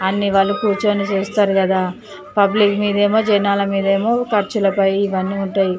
అన్ని వాళ్ళు కూర్చొని చేస్తారు కదా పబ్లిక్ మీదేమో జనాల మీదేమో ఖర్చులపై ఇవన్నీ ఉంటాయ్.